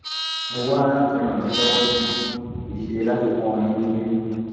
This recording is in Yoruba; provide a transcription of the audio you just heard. mo wá láti ràn yín lọwọ ni kì í ṣe láti pọn yín lójú